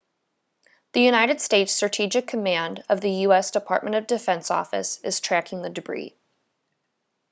the united states strategic command of the u.s. department of defense office is tracking the debris